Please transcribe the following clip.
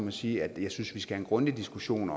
at sige at jeg synes at vi skal have en grundig diskussion